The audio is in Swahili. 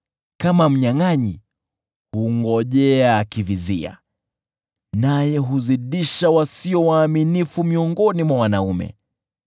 Kama mnyangʼanyi, hungojea akivizia, naye huzidisha wasio waaminifu miongoni mwa wanaume.